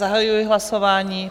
Zahajuji hlasování.